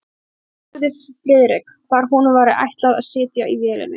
Hann spurði Friðrik, hvar honum væri ætlað að sitja í vélinni.